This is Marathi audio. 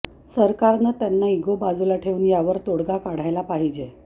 सरकारनं त्यांना इगो बाजूला ठेऊन यावर तोडगा काढाला पाहिजे